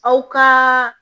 Aw ka